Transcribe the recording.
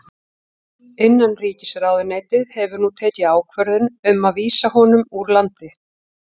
Innanríkisráðuneytið hefur nú tekið ákvörðun um að vísa honum úr landi.